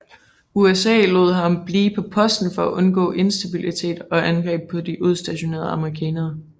USA lod ham blive på posten for at undgå instabilitet og angreb på de udstationerede amerikanere